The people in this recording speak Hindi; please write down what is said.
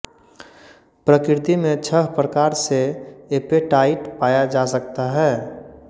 प्रकृति में छह प्रकार से ऐपेटाइट पाया जा सकता है